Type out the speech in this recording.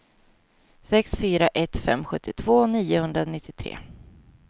sex fyra ett fem sjuttiotvå niohundranittiotre